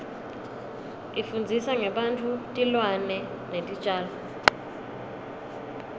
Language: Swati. ifundzisa ngebantfu tilwane netitjalo